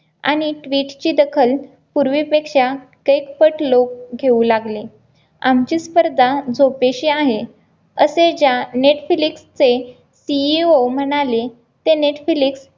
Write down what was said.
अनेक वीजची दखल पूर्वीपेक्षा तिप्पट लोक घेऊ लागले आमची स्पर्धा झोपेशी आहे असे ज्या नेटफ्लिक्सचे CEO म्हणाले ते नेटफ्लिक्स